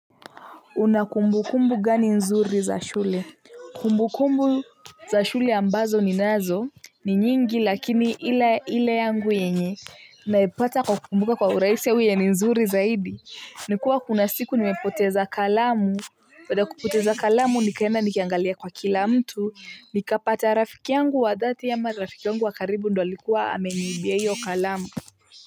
Una kumbukumbu gani nzuri za shule. Kumbukumbu za shule ambazo ninazo ni nyingi lakini hila hile yangu yenye naipata kwa kumbuka kwa uraisi au yenye ni nzuri zaidi. Nikuwa kuna siku nimepoteza kalamu Wada kupoteza kalamu nikaendanikiangalia kwa kila mtu nikapata rafiki yangu wadhati ama rafiki yangu wakaribu ndo alikuwa ameniibia iyo kalamu.